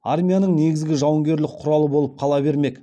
армияның негізгі жауынгерлік құралы болып қала бермек